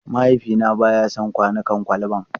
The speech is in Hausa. Mahaifina ba ya son kwanukan kwalba.